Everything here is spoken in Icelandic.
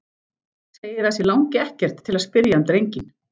Segir að sig langi ekkert til að spyrja um drenginn.